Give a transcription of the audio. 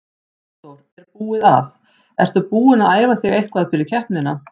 Hafþór: Er búið að, ertu búin að æfa þig eitthvað fyrir keppnina?